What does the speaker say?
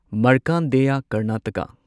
Markandeya Karnataka